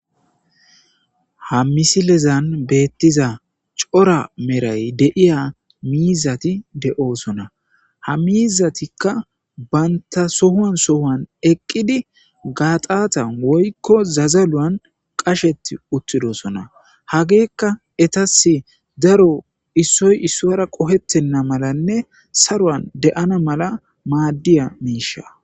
Ha misilezan beetiza cora meray de'iya miizzati de'osona. Ha miizzatikka banta sohuwan sohuwan eqqidi gaaxatan woykko zazaluwan qasheti uttidosona hagekka etassi daro issoy issuwara qohetena malanne saruwan de'ana mala maadiya miishsha.